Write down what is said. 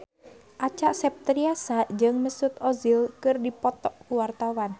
Acha Septriasa jeung Mesut Ozil keur dipoto ku wartawan